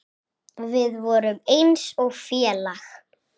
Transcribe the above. Við vorum eins og félag.